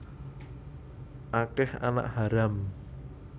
Akeh anak haram